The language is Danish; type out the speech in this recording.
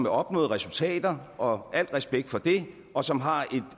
af opnåede resultater og al respekt for det og som har